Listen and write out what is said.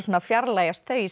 fjarlægjast þau í